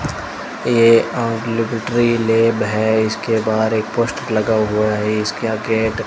ये आम laboratory lab है इसके बाहर एक पोस्टर लगा हुआ है इसका गेट --